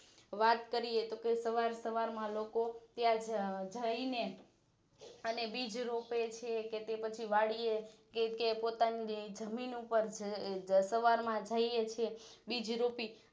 વાત કરીએ તો સવાર સવાર માં લોકો ત્યાં જઇનેઅને બીજરોપેછે કે તે પછી વાડીએ એ કે પોતાની જમીન ઉપર સવાર માં જઈ એ છીએ બીજરોપી